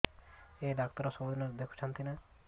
ଏଇ ଡ଼ାକ୍ତର ସବୁଦିନେ ଦେଖୁଛନ୍ତି ନା